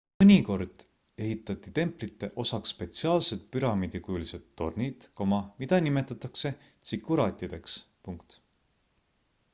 mõnikord ehitati templite osaks spetsiaalsed püramiidikujulised tornid mida nimetatakse tsikuraatideks